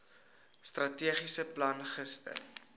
strategiese plan gister